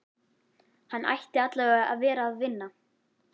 Hann ætti allavega að vera að vinna.